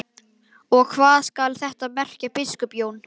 Og hvað skal þetta merkja, biskup Jón?